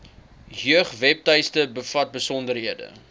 jeugwebtuiste bevat besonderhede